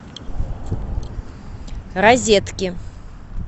розетки